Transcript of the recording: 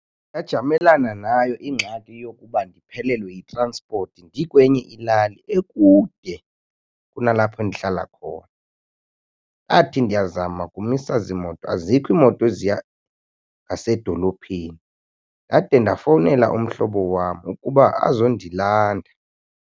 Ndajamelana nayo ingxaki yokuba ndiphelelwe yitransipoti ndikwenye ilali ekude kunalapha ndihlala khona. Ndathi ndiyazama kumisa ziimoto azikho imoto eziya ngasedolophini ndade ndafowunela umhlobo wam ukuba azondilanda.